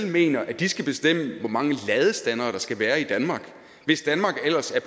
mener at de skal bestemme hvor mange ladestandere der skal være i danmark hvis danmark ellers er